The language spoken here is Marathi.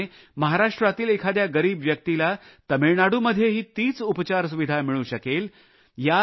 त्याचप्रमाणे महाराष्ट्रातील एखाद्या गरीब व्यक्तीला तमिळनाडूमध्येही तीच उपचार सुविधा मिळू शकेल